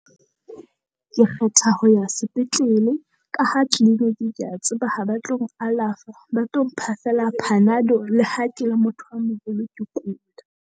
Ke kgetha ho ya sepetlele ka ha clinic kea tseba ha ba tlo ng alafa, ba tlo mpha feela Panado le ha ke le motho a moholo ke kula.